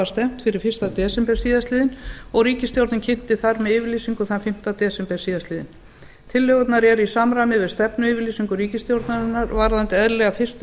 stefnt fyrir fyrsta desember síðastliðinn og ríkisstjórnin kynnti þær með yfirlýsingu þann fimmta desember síðastliðnum tillögurnar eru í samræmi við stefnuyfirlýsingu ríkisstjórnarinnar varðandi eðlilegar fyrstu